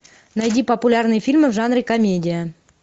найди популярные фильмы в жанре комедия